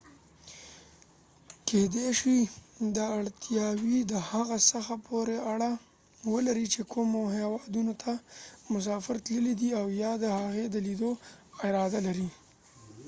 کيدې شي چې دا اړتیاوې د هغه څه پورې اړه ولري چې کومو هیوادونو ته مسافر تللی دی او یا د هغې د لیدو اراده لري